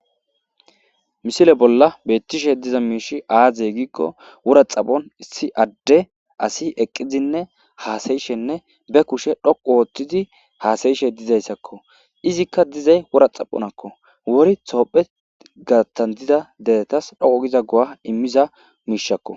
Misile bolla beettishe diza miish aazey giikko wora xaphon issi adde asi eqqizinne haasayishenne be kushe dhoqu ooththidi haasayishe dizayssakko izikka dizay wora xaphonakko wuri toophe garattan dida deretas dhoqu giza g'a immiza miishakko.